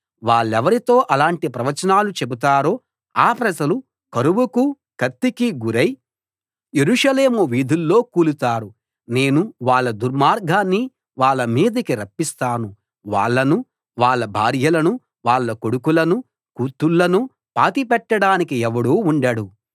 వాళ్ళెవరితో అలాంటి ప్రవచనాలు చెబుతారో ఆ ప్రజలు కరువుకూ కత్తికీ గురై యెరూషలేము వీధుల్లో కూలుతారు నేను వాళ్ళ దుర్మార్గాన్ని వాళ్ళ మీదికి రప్పిస్తాను వాళ్ళనూ వాళ్ళ భార్యలనూ వాళ్ళ కొడుకులనూ కూతుళ్ళనూ పాతిపెట్టడానికి ఎవడూ ఉండడు